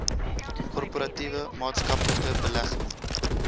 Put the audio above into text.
korporatiewe maatskaplike belegging